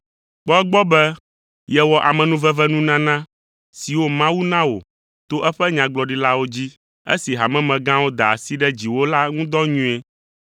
Kpɔ egbɔ be, yewɔ amenuvenunana siwo Mawu na wò to eƒe nyagblɔɖilawo dzi, esi hamemegãwo da asi ɖe dziwò la ŋu dɔ nyuie.